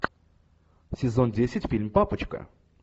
сезон десять фильм папочка